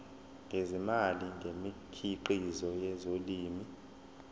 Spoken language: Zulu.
ngezimali ngemikhiqizo yezolimo